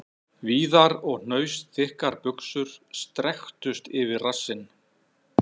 Víðar og hnausþykkar buxur strekktust yfir rassinn..